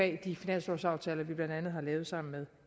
af de finanslovsaftaler vi blandt andet har lavet sammen med